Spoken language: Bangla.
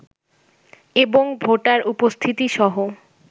এবং ভোটার উপস্থিতিসহ